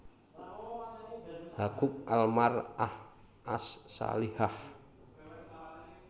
Haquq Al Mar ah As Salihah